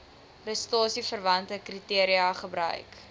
prestasieverwante kriteria gebruik